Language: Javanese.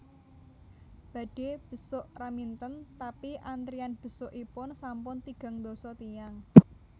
Badhe besuk Raminten tapi antrian besukipun sampun tigang ndasa tiyang